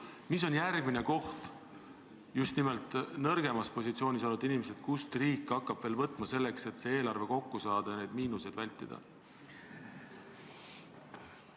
Mis on järgmine koht, kes on need just nimelt nõrgemas positsioonis olevad inimesed, kelle käest riik hakkab veel võtma, selleks et eelarve kokku saada ja miinuseid vältida?